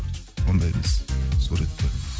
ондай емес суреттер